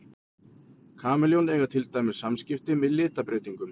Kameljón eiga til dæmis samskipti með litabreytingum.